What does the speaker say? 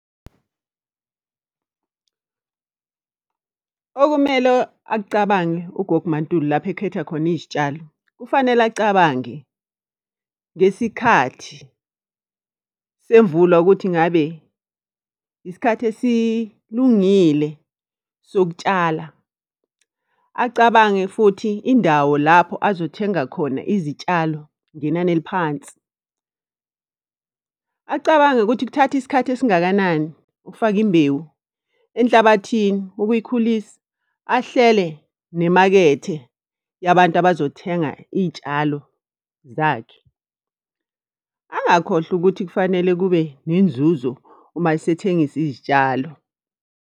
Okumele akucabange ugogo uMaNtuli lapho ekhetha khona izitshalo, kufanele acabange ngesikhathi semvula ukuthi ngabe isikhathi esilungile sokutshala. Acabange futhi indawo lapho azothenga khona izitshalo ngenani eliphansi. Acabange ukuthi kuthatha isikhathi esingakanani ukufaka imbewu enhlabathini, ukuyikhulisa, ahlele nemakethe yabantu abazothenga iy'tshalo zakhe. Angakhohlwa ukuthi kufanele kube nenzuzo uma esethengisa izitshalo.